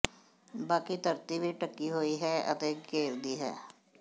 ਬਾਕੀ ਧਰਤੀ ਵੀ ਢੱਕੀ ਹੋਈ ਹੈ ਅਤੇ ਘੇਰਦੀ ਹੈ